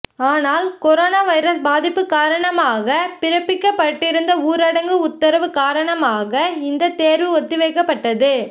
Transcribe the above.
ஆனால் corona virus பாதிப்பு காரணமாக பிறப்பிக்கப்பட்டிருந்த ஊரடங்கு உத்தரவு காரணமாக இந்த தேர்வு ஒத்திவைக்கப்பட்டது